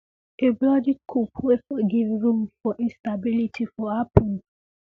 a bloody coup wey for give room room for instability for happun